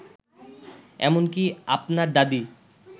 এমনকি আপনার দাদী